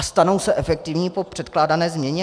A stanou se efektivní po předkládané změně?